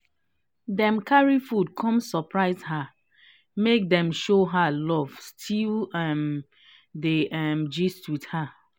dem carry food come surprise her make dem show her love still um dey um gist with her